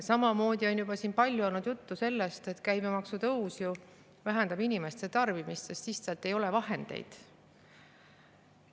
Samamoodi on siin palju olnud juttu sellest, et käibemaksu tõus vähendab inimeste tarbimist, sest lihtsalt ei ole vahendeid.